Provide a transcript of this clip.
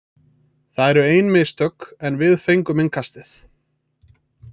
Það eru ein mistök, en við fengum innkastið.